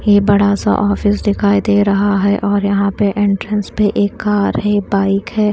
ये बड़ा सा ऑफिस दिखाई दे रहा है और यहां पे एंट्रेंस पे एक कार है बाइक है।